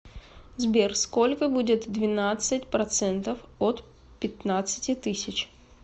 сбер сколько будет двенадцать процентов от пятнадцати тысяч